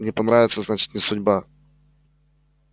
не понравится значит не судьба